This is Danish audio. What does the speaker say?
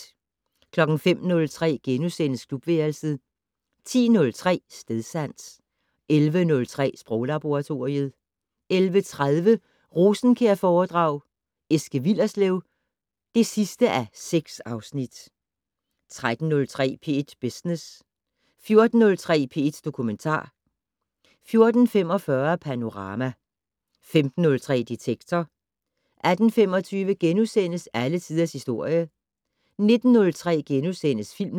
05:03: Klubværelset * 10:03: Stedsans 11:03: Sproglaboratoriet 11:30: Rosenkjærforedrag: Eske Willerslev (6:6) 13:03: P1 Business 14:03: P1 Dokumentar 14:45: Panorama 15:03: Detektor 18:25: Alle tiders historie * 19:03: Filmland *